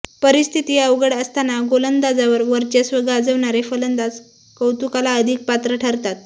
परिस्थिती अवघड असताना गोलंदाजांवर वर्चस्व गाजवणारे फलंदाज कौतुकाला अधिक पात्र ठरतात